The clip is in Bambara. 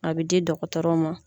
A bɛ di dɔgɔtɔrɔ ma.